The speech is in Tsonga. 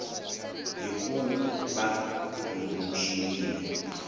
hi ku va ku tumbuluxiwile